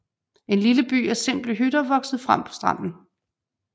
En lille by af simple hytter voksede frem på stranden